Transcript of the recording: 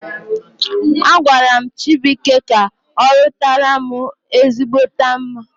Agwaram Chibuike ka orutaram ezigbote mma